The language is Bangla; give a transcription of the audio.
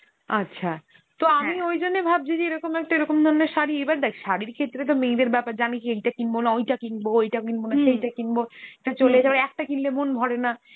আচ্ছা, তো আমি ওইজন্যে ভাবছি যে এরমকম একটা, এরকম ধরনের শাড়ি, এবার দেখ শাড়ির ক্ষেত্রে তো মেয়ে দের ব্যাপার জানিসই এইটা কিনবো না ওইটা কিনবো, ওইটা কিনবো না সেইটা কিনবো এইটা চলেই, আবার একটা কিনলে মন ভরে না